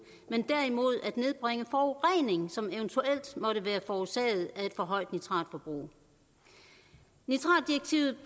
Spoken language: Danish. men derimod at nedbringe forureningen som eventuelt måtte være forårsaget af et for højt nitratforbrug nitratdirektivet